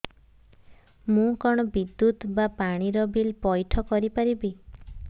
ମୁ କଣ ବିଦ୍ୟୁତ ବା ପାଣି ର ବିଲ ପଇଠ କରି ପାରିବି